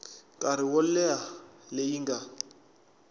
nkarhi wo leha leyi nga